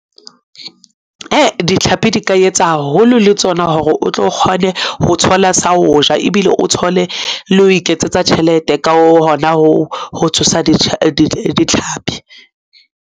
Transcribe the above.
E, ditlhapi di ka etsa haholo le tsona hore o tlo kgone ho thola sa ho ja ebile o thole le ho iketsetsa tjhelete. Ka hona ho tshosa ditlhapi.